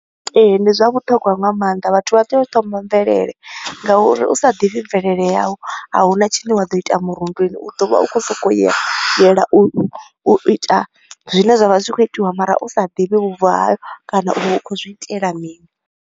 Ee, ndi zwa vhuṱhogwa nga maanḓa, vhathu vha tea u thoma mvelele nga uri u sa ḓivhi mvelele yau, a huna tshine wa ḓo ita murunduni. U ḓo vha u kho u so ko u ya yela u u u ita zwine zwa vha zwi kho u itiwa mara u sa ḓivhi vhubvo hau kana uri u khou zwi itela mini.